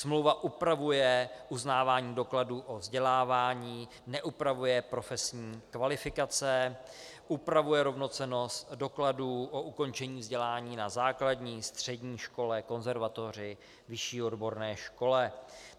Smlouva upravuje uznávání dokladů o vzdělávání, neupravuje profesní kvalifikace, upravuje rovnocennost dokladů o ukončení vzdělání na základní, střední škole, konzervatoři, vyšší odborné škole.